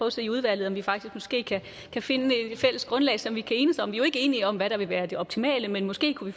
at se i udvalget om vi faktisk måske kan finde et fælles grundlag som vi kan enes om vi er jo ikke enige om hvad der vil være det optimale men måske kunne